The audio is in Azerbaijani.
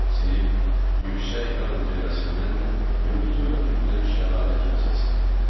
Sinif yüksək dağın zirvəsindən gurultu ilə tökülən şəlalə kimi səsləndi.